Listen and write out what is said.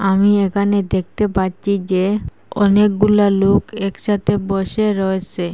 আমি এখানে দেখতে পাচ্ছি যে অনেকগুলা লোক একসাথে বসে রয়েসে।